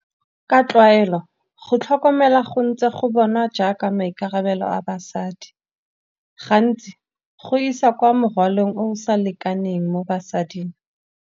Ka tlwaelo go tlhokomela go ntse go bonwa jaaka maikarabelo a basadi. Gantsi go isa kwa morwalong o sa lekaneng mo basading.